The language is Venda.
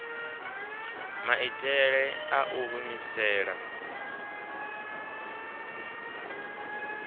maitele a u i humisela